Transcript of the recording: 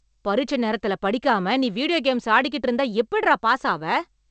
பரிட்சை நேரத்துல படிக்காம நீ வீடியோ கேம்ஸ் ஆடிகிட்டு இருந்தா எப்டிடா பாஸ் ஆவே?